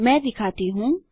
मैं दिखाता हूँ